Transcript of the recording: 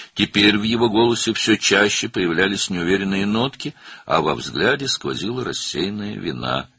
İndi onun səsində getdikcə daha çox qeyri-müəyyən notlar, baxışlarında isə yayınmış günah hiss olunurdu.